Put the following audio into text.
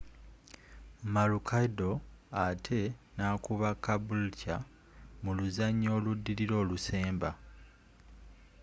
maroochydore ate nakuba caboolture mu luzanya oludilila olusemba